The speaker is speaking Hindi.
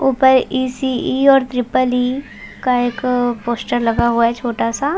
ऊपर इ_सी_इ और ट्रिपल इ का एक पोस्टर लगा हुआ है एक छोटा सा --